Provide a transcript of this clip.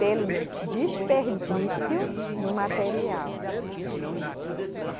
Pelo desperdício do material.